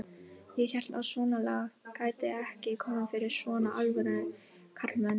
Ég hélt að svonalagað gæti ekki komið fyrir svona alvöru karlmenn.